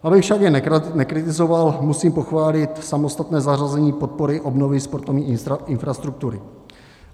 Abych však jen nekritizoval, musím pochválit samostatné zařazení podpory obnovy sportovní infrastruktury.